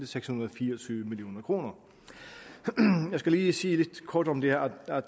seks hundrede og fire og tyve million kroner jeg skal lige sige kort om det her at